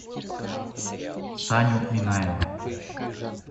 саню минаева